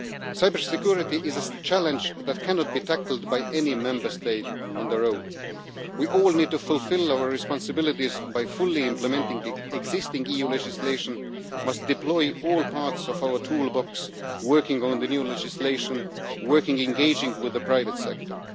Cybersecurity is a challenge that cannot be tackled by any Member State on its own. We all need to fulfil our responsibilities by fully implementing the existing EU legislation and must deploy all parts of our toolbox, working on the new legislation and engaging with the private sector.